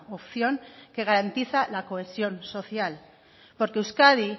opción que garantiza la cohesión social porque euskadi